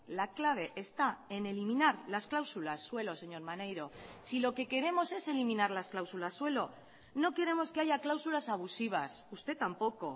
la clave está en eliminar las cláusulas suelo señor maneiro si lo que queremos es eliminar las cláusulas suelo no queremos que haya cláusulas abusivas usted tampoco